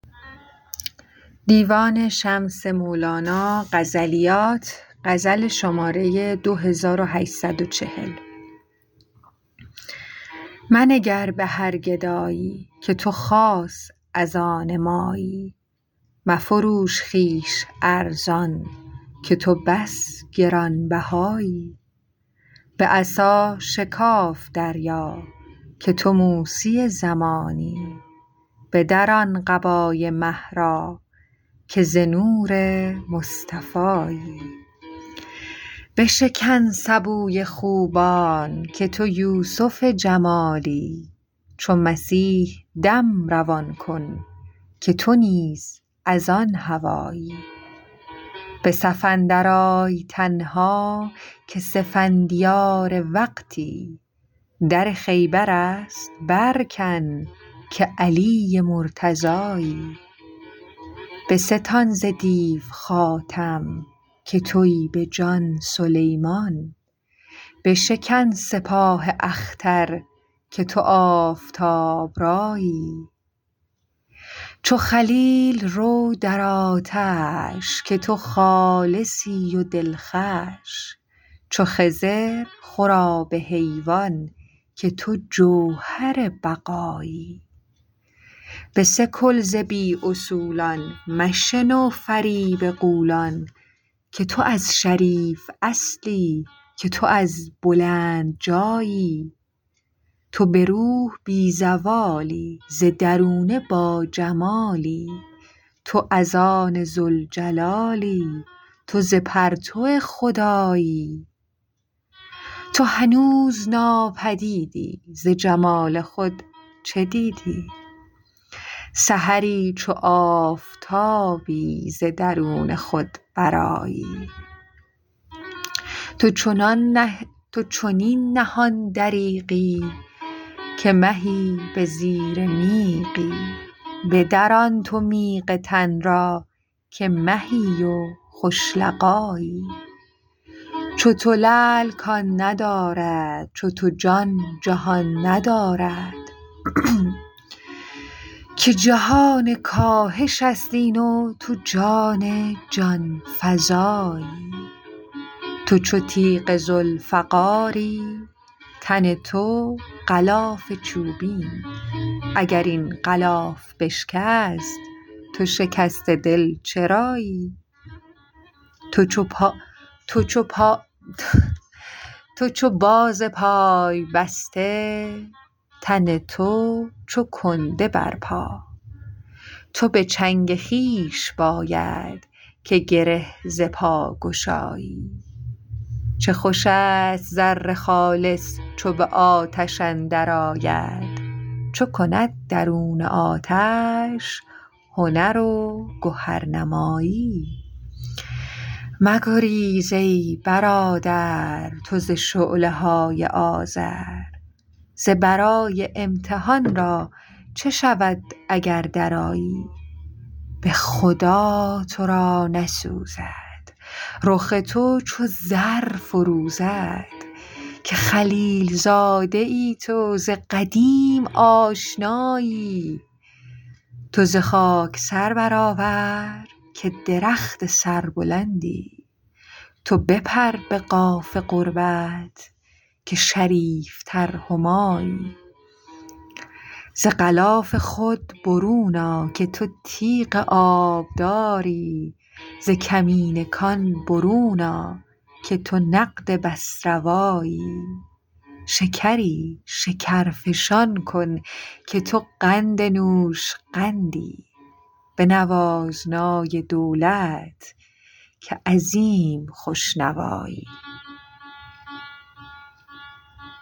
منگر به هر گدایی که تو خاص از آن مایی مفروش خویش ارزان که تو بس گران بهایی به عصا شکاف دریا که تو موسی زمانی بدران قبای مه را که ز نور مصطفایی بشکن سبوی خوبان که تو یوسف جمالی چو مسیح دم روان کن که تو نیز از آن هوایی به صف اندرآی تنها که سفندیار وقتی در خیبر است برکن که علی مرتضایی بستان ز دیو خاتم که توی به جان سلیمان بشکن سپاه اختر که تو آفتاب رایی چو خلیل رو در آتش که تو خالصی و دلخوش چو خضر خور آب حیوان که تو جوهر بقایی بسکل ز بی اصولان مشنو فریب غولان که تو از شریف اصلی که تو از بلند جایی تو به روح بی زوالی ز درونه باجمالی تو از آن ذوالجلالی تو ز پرتو خدایی تو هنوز ناپدیدی ز جمال خود چه دیدی سحری چو آفتابی ز درون خود برآیی تو چنین نهان دریغی که مهی به زیر میغی بدران تو میغ تن را که مهی و خوش لقایی چو تو لعل کان ندارد چو تو جان جهان ندارد که جهان کاهش است این و تو جان جان فزایی تو چو تیغ ذوالفقاری تن تو غلاف چوبین اگر این غلاف بشکست تو شکسته دل چرایی تو چو باز پای بسته تن تو چو کنده بر پا تو به چنگ خویش باید که گره ز پا گشایی چه خوش است زر خالص چو به آتش اندرآید چو کند درون آتش هنر و گهرنمایی مگریز ای برادر تو ز شعله های آذر ز برای امتحان را چه شود اگر درآیی به خدا تو را نسوزد رخ تو چو زر فروزد که خلیل زاده ای تو ز قدیم آشنایی تو ز خاک سر برآور که درخت سربلندی تو بپر به قاف قربت که شریفتر همایی ز غلاف خود برون آ که تو تیغ آبداری ز کمین کان برون آ که تو نقد بس روایی شکری شکرفشان کن که تو قند نوشقندی بنواز نای دولت که عظیم خوش نوایی